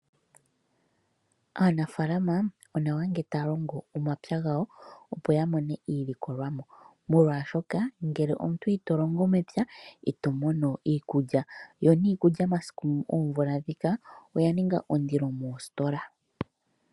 Aanafaalama onawa ngele taya longo omapyu gawo opo ya mone mo iilikolomwa molwaashoka ngele omuntu Ito longo mepya itomono iikulya, yo niikulya masiku/oomvula ndhika oya ninga ondili moositola.